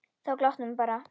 Þá glottir hún bara.